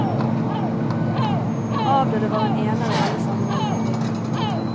Avdøde var en ener i alle sammenhenger i livet.